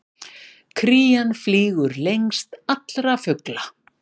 Krían flýgur lengst allra fugla!